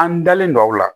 An dalen don a la